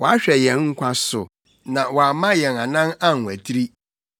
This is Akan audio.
wahwɛ yɛn nkwa so na wamma yɛn anan anwatiri.